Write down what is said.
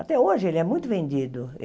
Até hoje ele é muito vendido.